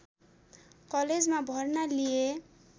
कलेजमा भर्ना लिए